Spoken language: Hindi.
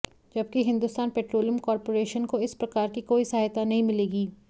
जबकि हिंदुस्तान पेट्रोलियम कॉरपोरेशन को इस प्रकार की कोई सहायता नहीं मिलेगी